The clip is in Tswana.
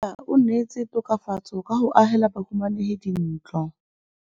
Mmasepala o neetse tokafatsô ka go agela bahumanegi dintlo.